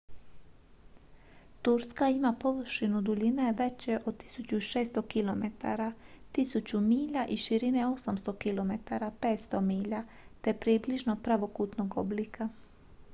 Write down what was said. turska ima površinu duljine veće od 1600 kilometara 1000 milja i širine 800 km 500 milja te je približno pravokutnog oblika